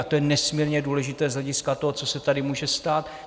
A to je nesmírně důležité z hlediska toho, co se tady může stát.